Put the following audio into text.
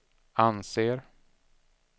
anser